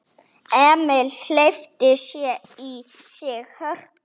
Emil hleypti í sig hörku.